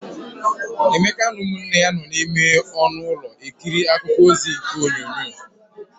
Emeka na ụmụnne ya nọ n'ime ọnụ ulọ ekiri akụkọ ozi n'igwe onyonyo.